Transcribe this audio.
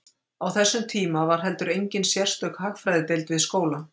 Á þessum tíma var heldur engin sérstök hagfræðideild við skólann.